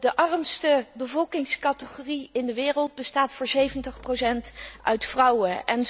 De armste bevolkingscategorie in de wereld bestaat voor 70 uit vrouwen.